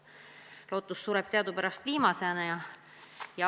Aga lootus sureb teadupärast viimasena.